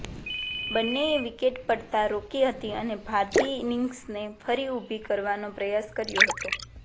બન્નેએ wicket પડતા રોકી હતી અને ભારતીય ઇનિંગ્સને ફરી ઉભી કરવાનો પ્રયાસ કર્યો હતો